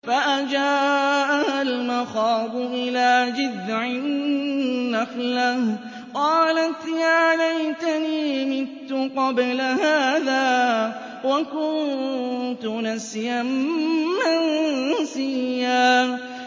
فَأَجَاءَهَا الْمَخَاضُ إِلَىٰ جِذْعِ النَّخْلَةِ قَالَتْ يَا لَيْتَنِي مِتُّ قَبْلَ هَٰذَا وَكُنتُ نَسْيًا مَّنسِيًّا